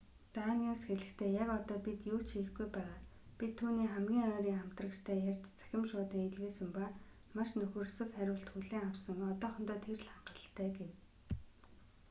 даниус хэлэхдээ яг одоо бид юу ч хийхгүй байгаа бид түүний хамгийн ойрын хамтрагчтай ярьж цахим шуудан илгээсэн ба маш нөхөрсөг хариулт хүлээн авсан одоохондоо тэр л хангалттай гэв